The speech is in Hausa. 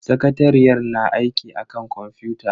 Sakatariyar na aiki akan kwamfuta.